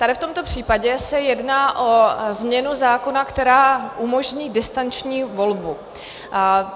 Tady v tomto případě se jedná o změnu zákona, která umožní distanční volbu.